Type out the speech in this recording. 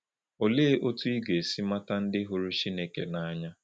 Olee otú ị ga-esi mata ndị hụrụ Chineke n’anya?